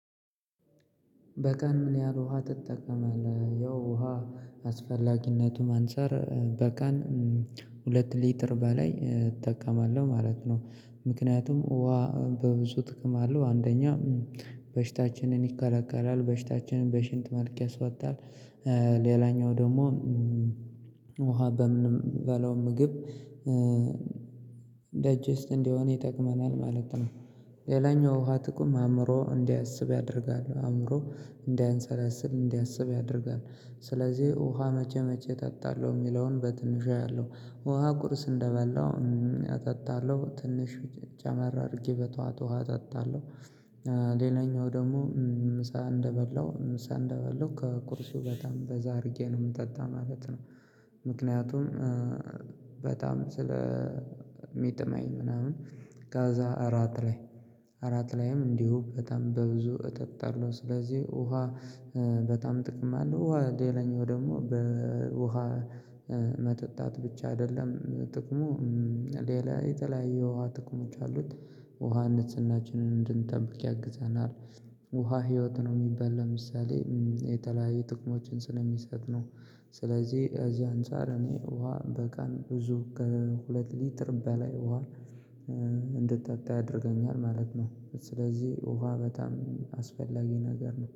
በቀን ምን ያህል ውሃ ትጠቀማለህ ያው ውሃ አስፈላጊነቱም አንፃር በቀን ሁለት ሊትር በላይ እጠቀማለሁ ማለት ነው ምክንያቱም ውሃ በብዙ ጥቅም አለው አንደኛ በሽታችንን ይከራከራል በሽታችንን በሽንት መልክ ያስወጣል ሌላኛው ደግሞ ውሃ በምንበላው ምግብ እንዲሆን ይጠቅመናል ማለት ነው። ሌላኛው ውሃ ጥቅም አእምሮ እንዲያስብ ያደርጋል አእምሮ እንዳያሰላስል፣ እንዲያስብ ያደርጋል ስለዚህ ውሃ መቼ መቼ እጠጣለሁ የሚለውን በትንሹ አያለሁ ውሃ ቁርስ እንደበላሁ አጠጣለሁ ትንሽ ጨመር አድርጌ በጧት ውሃ እጠጣለሁ። ሌላኛው ደግሞ ምሳ እንደበላሁ ምሳ እንደበላው ከቁርሱ በጣም በዛ አድርጌ ነው የምጠጣው ማለት ነው ምክንያቱም በጣም ስለ ሚጥመኝ ምናምን ከዛ እራት ላይ እራት ላይም እንዲሁ በጣም በብዙ እጠጣለሁ ስለዚህ ውሃ በጣም ጥቅም አለው። ውሃ ሌላኛው ደግሞ በውሃ መጠጣት ብቻ አይደለም ጥቅሙ ሌላ የተለያየ የውሃ ጥቅሞች አሉት ውሃ ንጽህናችንን እንድንጠብቅ ያግዘናል። ውሃ ህይወት ነው የሚባል ለምሳሌ የተለያየ ጥቅሞችን ስለሚሰጥ ነው ስለዚህ ከዚህ አንፃር እኔ ውሃ በቀን ብዙ ከሁለት ሊትር በላይ ውሃ እንድጠጣ ያደርገኛል ማለት ነው ስለዚህ ውሃ በጣም አስፈላጊ ነገር ነው